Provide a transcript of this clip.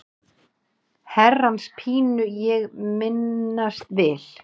Herrans pínu ég minnast vil.